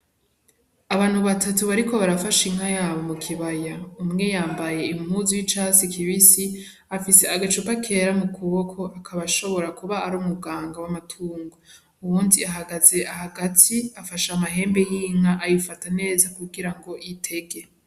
Abantu batatu bariko arafasha inka yabo mu kibaya. Umwe yambaye impuzu y'icatsi kibisi, afise agacupa kera mu kuboko, akaba ashobora kuba ari umuganga w'amatungo. Uwundi ahagaze hagati afashe amahembe y'inka, ayifata neza kugira ngo itege.